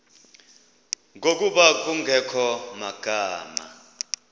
ngokuba kungekho magama